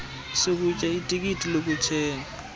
sokutya itikiti lokuthenga